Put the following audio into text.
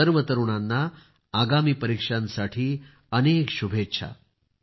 सर्व तरुणांना आगामी परीक्षांसाठी अनेक शुभेच्छा